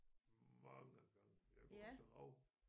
Mange gange jeg jeg går efter rav